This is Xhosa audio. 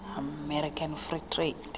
american free trade